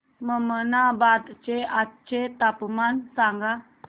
ममनाबाद चे आजचे तापमान सांग